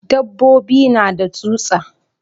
Dabbobi na da tsutsa.